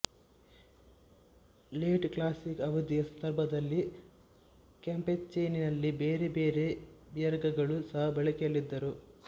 late classic ಅವಧಿಯ ಸಂದರ್ಭದಲ್ಲಿ ಕ್ಯಾಂಪೇಚೆನಲ್ಲಿ ಬೇರೆ ಬೇರೆ ಬಿಯರ್ಗಳೂ ಸಹ ಬಳಕೆಯಲ್ಲಿದ್ದರು